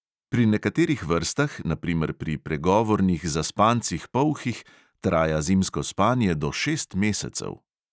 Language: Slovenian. Pri nekaterih vrstah, na primer pri pregovornih zaspancih polhih, traja zimsko spanje do šest mesecev.